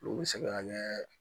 Olu bɛ se ka kɛ